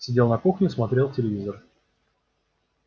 сидел на кухне смотрел телевизор